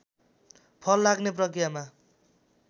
फल लाग्ने प्रकियामा